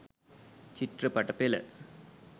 චිත්‍රපට පෙළ.